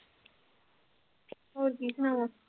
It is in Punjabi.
ਹੋਰ ਕੀ ਸੁਣਾਵਾਂ।